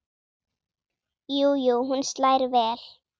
Jú jú, hún slær vel!